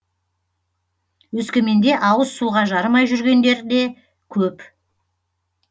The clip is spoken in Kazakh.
өскеменде ауыз суға жарымай жүргендер де көп